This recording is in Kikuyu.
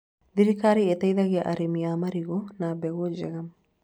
Thirikari ĩteithagĩa arĩmi a marigũ na mbegũ njega